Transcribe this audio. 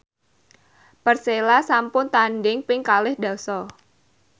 Persela sampun tandhing ping kalih dasa